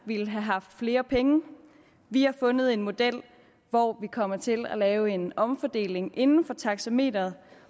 ville have haft flere penge vi har fundet en model hvor vi kommer til at lave en omfordeling inden for taxameteret